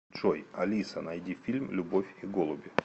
джой алиса найди фильм любовь и голуби